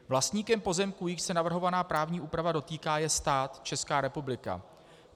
Vlastníkem pozemků, jichž se navrhovaná právní úpravy dotýká, je stát, Česká republika.